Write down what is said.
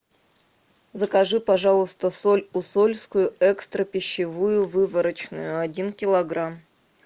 закажи пожалуйста соль усольскую экстра пищевую выборочную один килограмм